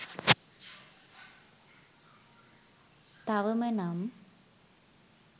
තවම නම්